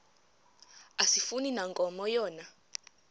asifani nankomo yona